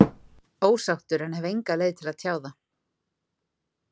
Ósáttur en hef enga leið til að tjá það.